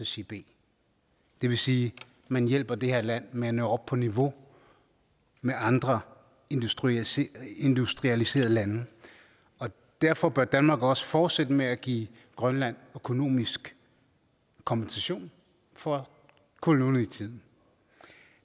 sige b det vil sige at man hjælper det her land med at nå op på niveau med andre industrialiserede industrialiserede lande derfor bør danmark også fortsætte med at give grønland økonomisk kompensation for kolonitiden